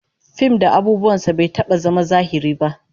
Fim da abubuwan sa bai taba zama zahiri ba